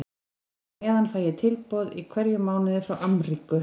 Og á meðan fæ ég tilboð í hverjum mánuði frá Amríku.